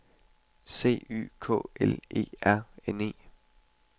C Y K L E R N E